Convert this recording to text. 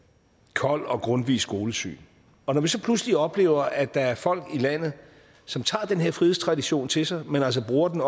kolds og grundtvigs skolesyn og når vi så pludselig oplever at der er folk i landet som tager den her frihedstradition til sig men altså bruger den